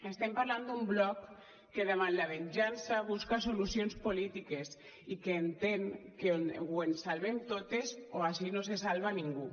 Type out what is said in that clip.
estem parlant d’un bloc que davant la venjança busca solucions polítiques i que entén que o ens salvem totes o ací no se salva ningú